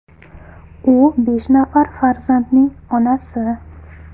U besh nafar farzandning onasi.